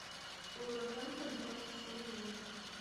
вулверхэмптон против астон виллы